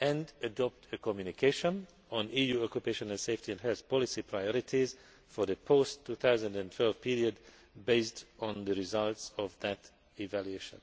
and adopt a communication on EU occupational safety and health policy priorities for the post 2012 period based on the results of that evaluation.